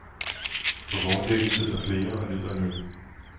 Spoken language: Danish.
På vogndækket sidder flere og nyder en øl.